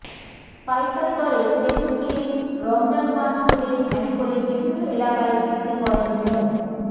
পাইকারি দরে খেজুর কিনে রমজান মাস জুড়ে ভ্যানে করে বিভিন্ন এলাকায় বিক্রি করেন মো